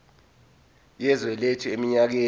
yezwe lethu eminyakeni